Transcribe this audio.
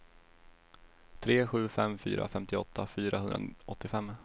tre sju fem fyra femtioåtta fyrahundraåttiofem